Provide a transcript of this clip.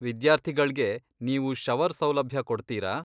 ವಿದ್ಯಾರ್ಥಿಗಳ್ಗೆ ನೀವು ಶವರ್ ಸೌಲಭ್ಯ ಕೊಡ್ತೀರಾ?